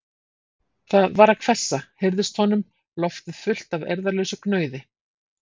Það var að hvessa, heyrðist honum, loftið fullt af eirðarlausu gnauði.